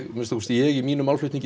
að minnsta kosti ég í mínum málflutningi